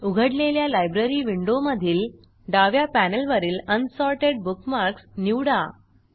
उघडलेल्या लायब्ररी विंडोमधील डाव्या पॅनेलवरील अनसॉर्टेड बुकमार्क्स निवडा